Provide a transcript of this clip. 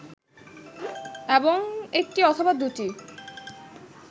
এবং একটি অথবা দুটি